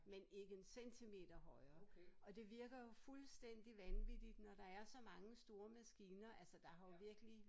Men ikke en centimeter højere og det virker jo fuldstændig vanvittigt når der er så mange store maskiner altså der har virkelig